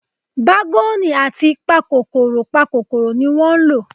Bágọ́ọ̀nù àti pakòròpakòrò ni wọ́n lò.